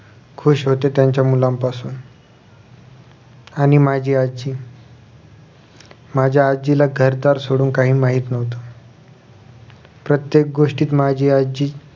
खुश होते त्यांच्या मुलांपासून आणि माझी आजी माझ्या आजीला घरदार सोडून काही माहित नव्हतं प्रत्येक गोष्टीत माझी आजी